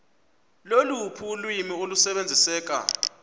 loluphi ulwimi olusebenziseka